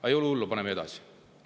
Aga ei ole hullu, paneme edasi.